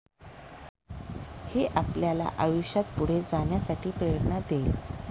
हे आपल्याला आयुष्यात पुढे जाण्यासाठी प्रेरणा देईल.